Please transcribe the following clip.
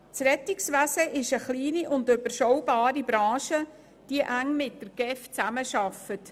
Dabei handelt es sich um eine kleine und überschaubare Branche, die eng mit der GEF zusammenarbeitet.